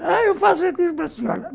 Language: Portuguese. – Ah, eu faço a para a senhora.